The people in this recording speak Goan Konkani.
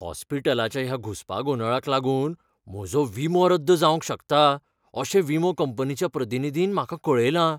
हॉस्पिटलाच्या ह्या घुस्पागोंदळाक लागून म्हजो विमो रद्द जावंक शकता अशें विमो कंपनीच्या प्रतिनिधीन म्हाका कळयलां.